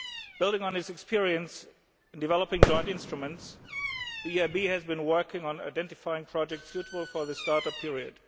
Building on its experience and developing joint instruments, the EIB has been working on identifying projects suitable for the start up period.